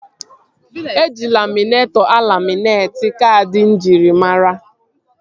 Eji laminetọ alaminetị kaadị njirimara